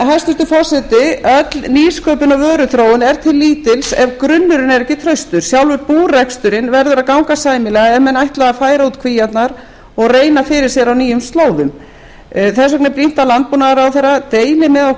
hæstvirtur forseti öll nýsköpun og vöruþróun er til lítils ef grunnurinn er ekki traustur sjálfur búreksturinn verður að ganga sæmilega ef menn ætla að færa út kvíarnar og reyna fyrir sér á nýjum slóðum þess vegna er brýnt að landbúnaðarráðherra deili með